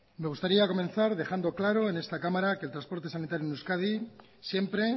me gustaría comenzar dejando claro en esta cámara que el transporte sanitario en euskadi siempre